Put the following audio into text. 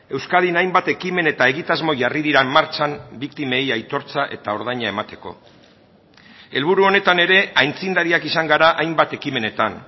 euskadin hainbat ekimen eta egitasmo jarri dira martxan biktimei aitortza eta ordaina emateko helburu honetan ere aitzindariak izan gara hainbat ekimenetan